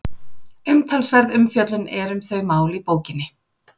Umtalsverð umfjöllun er um þau mál í bókinni.